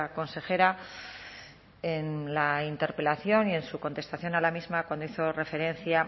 consejera en la interpelación y en su contestación a la misma cuando hizo referencia